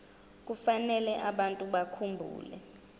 kufanele abantu bakhumbule